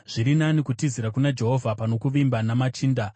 Zviri nani kutizira kuna Jehovha pano kuvimba namachinda.